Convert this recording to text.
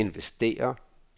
investere